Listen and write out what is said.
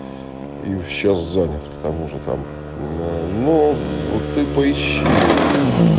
и сейчас занят к тому же там на ну вот ты поищи это